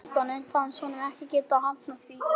Á endanum fannst honum hann ekki geta hafnað því.